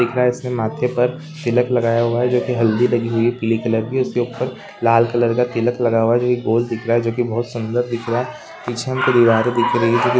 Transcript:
माथे पर तिलक लगाया हुआ है जो की हल्दी लगी हुई पीली कलर की उसके ऊपर लाल कलर का तिलक लगा हुआ है जो की गोल दिख रहा है जो की बोहत सुन्दर दिख रहा है पीछे हमको दीवारें दिख रही है जो की स्टेज --